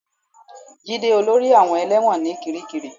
Jide olórí àwọn ẹlẹ́wọ̀n ní kiríkirì